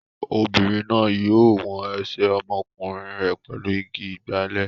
Obìnrin náà yóò wọn ẹsẹ̀ ọmọkùnrin rẹ̀ pẹ̀lú igi ìgbálè.